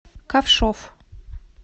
ковшов